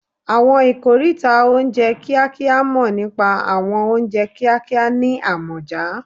Àwọn ikoríta oúnjẹ kíákíá mọ̀ nípa àwọn oúnjẹ kíákíá ní àmọ̀já